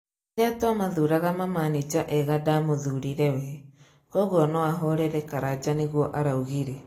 rĩrĩa twa mathũraga mamanĩnja ega ndaMũthurire we, kogũo noahorere Karanja nigũo araugire